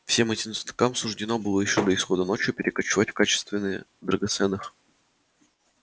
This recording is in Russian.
всем этим цветам суждено было ещё до исхода ночи перекочевать в качественные драгоценных